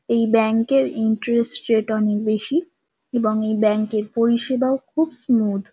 এই ব্যাঙ্ক -এর interest rate -অনেক বেশি এবং এই ব্যাঙ্ক -এর পরিষেবাও খুব স্মুদ ।